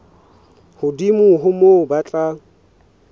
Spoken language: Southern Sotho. hodimo ho moo ba tla